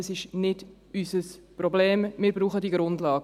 » Das ist nicht unser Problem, wir brauchen diese Grundlagen.